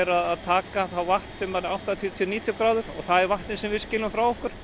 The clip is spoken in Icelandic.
að taka vatn sem er áttatíu til níutíu gráður og það er vatnið sem við skilum frá okkur